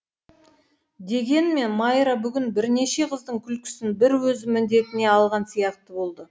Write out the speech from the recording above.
дегенмен майра бүгін бірнеше қыздың күлкісін бір өзі міндетіне алған сияқты болды